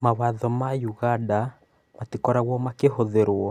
Mawatho ma ũganda matikoragwo makĩhũthĩrũo.